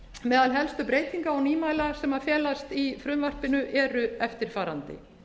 meðal helstu breytinga og nýmæla sem felast í frumvarpinu eru eftirfarandi